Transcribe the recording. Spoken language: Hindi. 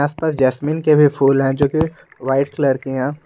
आस पास जैसमिन के भी फूल है जो कि व्हाइट कलर की है।